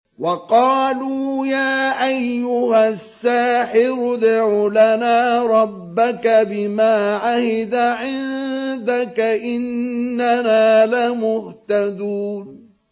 وَقَالُوا يَا أَيُّهَ السَّاحِرُ ادْعُ لَنَا رَبَّكَ بِمَا عَهِدَ عِندَكَ إِنَّنَا لَمُهْتَدُونَ